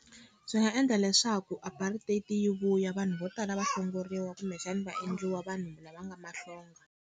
Swi nga endla leswaku apartheid yi vuya vanhu vo tala va hlongoriwa kumbexani va endliwa vanhu lava nga mahlonga.